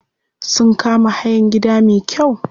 Sun kama hayan gida me kyau.